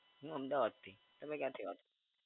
હું અમદાવાદથી. તમે ક્યા થી વાત